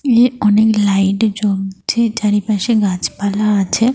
এ অনেক লাইট জ্বলছে। চারিপাশে গাছপালা আছে।